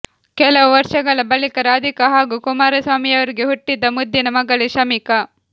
ಕೆಲವು ವರ್ಷಗಳ ಬಳಿಕ ರಾಧಿಕಾ ಹಾಗೂ ಕುಮಾರಸ್ವಾಮಿಯವರಿಗೆ ಹುಟ್ಟಿದ ಮುದ್ದಿನ ಮಗಳೇ ಶಮಿಕಾ